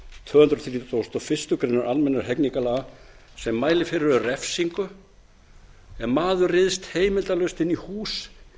tvö hundruð þrítugustu og fyrstu grein almennra hegningarlaga sem mælir fyrir um refsingu ef maður ryðst heimildarlaust inn í hús